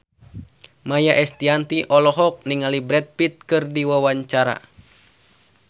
Maia Estianty olohok ningali Brad Pitt keur diwawancara